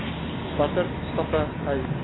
watter stappe hy